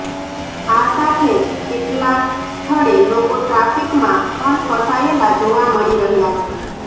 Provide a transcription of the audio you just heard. આ સાથે જ કેટલાક સ્થળે લોકો ટ્રાફિકમા પણ ફસાયેલા જોવા મળી રહ્યાં છે